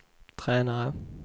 tränare